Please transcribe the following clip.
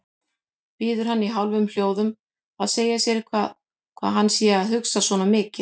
Biður hann í hálfum hljóðum að segja sér hvað hann sé að hugsa svona mikið.